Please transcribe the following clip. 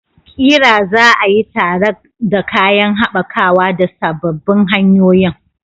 ƙira za a yi tare da kayan haɓakawa da sababbin hanyoyin.